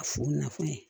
A fo nafan ye